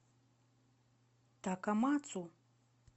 такамацу